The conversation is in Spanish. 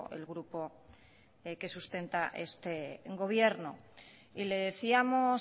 el grupo que sustenta este gobierno y le decíamos